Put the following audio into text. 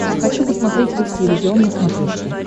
хочу посмотреть русский иллюзион на смотрешке